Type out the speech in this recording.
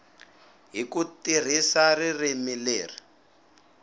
hi ku tirhisa ririmi leri